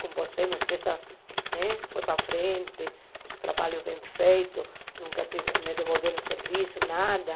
Com você, minha empresa né foi para frente, os trabalhos bem feitos, nunca tive me devolveram o serviço, nada.